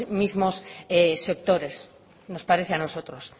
mismos sectores nos parece a nosotros